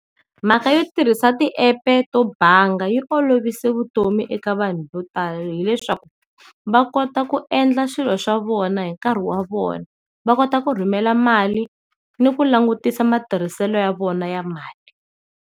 Mhaka yo tirhisa ti-app-e to banga yi olovise vutomi eka vanhu vo tala hileswaku va kota ku endla swilo swa vona hi nkarhi wa vona, va kota ku rhumela mali ni ku langutisa matirhiselo ya vona ya mali.